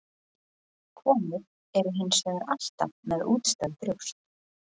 Konur eru hins vegar alltaf með útstæð brjóst.